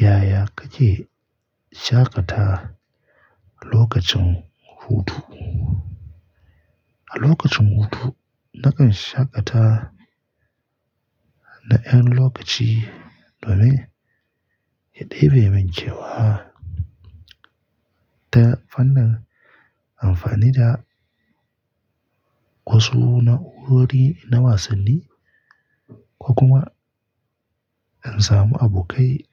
Yaya kake shaƙata lokacin hutu? A lokacin hutu, nakan shaƙata da ƴan lokaci domin ya ɗebe min kewa ta fannin amfani da wasu na'urori na wasanni, ko kuma in samu abokai